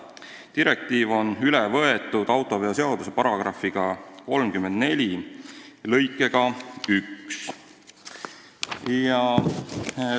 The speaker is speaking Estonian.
Direktiiv on üle võetud autoveoseaduse § 35 lõikega 1.